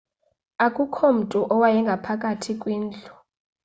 akukho mntu owayengaphakathi kwindlu